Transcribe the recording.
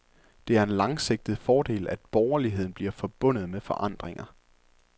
Det er en langsigtet fordel, at borgerligheden bliver forbundet med forandringer.